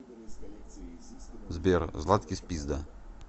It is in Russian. сбер златкис пизда